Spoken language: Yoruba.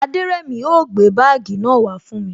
Aderemi o gbé bagii náà wa fún mi